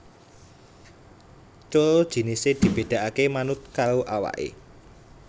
Coro jinisé dibedakaké manut karo awaké